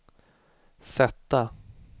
sätta